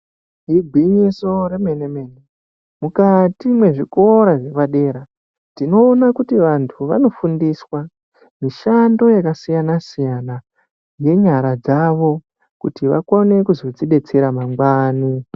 Igwinyiso remene-mene, mukati mezvikora zvepadera, tinoona kuti vantu vanofundiswa mishando yakasiyana-siyana nenyara dzavo kuti vakone kuzozvidetsera mangwani.